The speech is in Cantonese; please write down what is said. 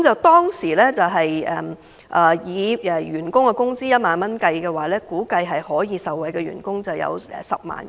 當時以員工薪酬1萬元作為計算基準，受惠員工估計達10萬人。